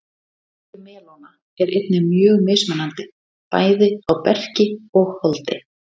Litur melóna er einnig mjög mismunandi, bæði á berki og holdi.